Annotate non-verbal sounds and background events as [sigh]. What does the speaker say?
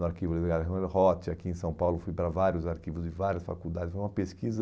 No arquivo de [unintelligible] aqui em São Paulo, fui para vários arquivos de várias faculdades, foi uma pesquisa...